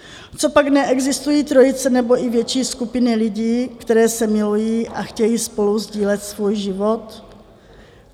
Copak neexistují trojice nebo i větší skupiny lidí, které se milují a chtějí spolu sdílet svůj život?